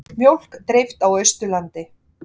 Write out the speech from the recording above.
Mjólk dreift á Austurlandi